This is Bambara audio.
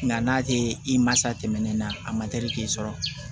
Nga n'a te i ma sa tɛmɛnen na a ma teli k'i sɔrɔ